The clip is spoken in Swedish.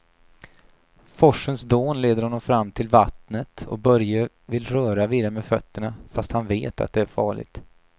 Forsens dån leder honom fram till vattnet och Börje vill röra vid det med fötterna, fast han vet att det är farligt.